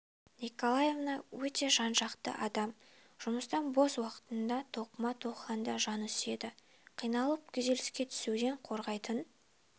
николаевна өте жан-жақты адам жұмыстан бос уақытында тоқыма тоқығанды жаны сүйеді қиналып күйзеліске түсуден қорғайтын